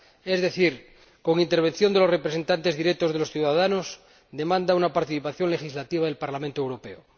es decir, con intervención de los representantes directos de los ciudadanos demanda una participación legislativa del Parlamento Europeo.